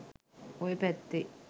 ඔය පැත්තේ.